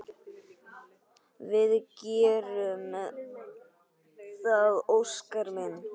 Við gerum það, Óskar minn.